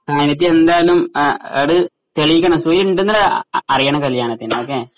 ആ അതിപ്പം എന്തായാലും ആ അത് തെളിയിക്കണം സുഹൈലുണ്ടെന്ന് അറിയണം കല്യാണത്തിന് ഓക്കേ